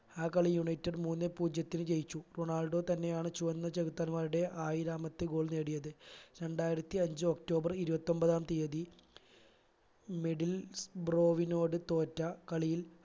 ആ കളിയിൽ united മൂന്നേ പൂജ്യത്തിന് ജയിച്ചു റൊണാൾഡോ തന്നെയാണ് ചുവന്ന ചെകുത്താൻമാരുടെ ആയിരാമത്തെ goal നേടിയത് രണ്ടായിരത്തി അഞ്ച്‌ ഒക്ടോബർ ഇരുപത്തിഒമ്പതാം തിയതി middle ബ്രോവിനോട് തോറ്റ കളിയിൽ